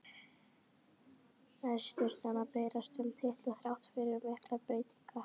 Nær Stjarnan að berjast um titla þrátt fyrir miklar breytingar?